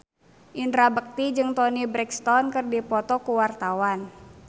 Indra Bekti jeung Toni Brexton keur dipoto ku wartawan